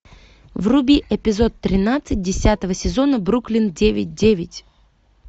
вруби эпизод тринадцать десятого сезона бруклин девять девять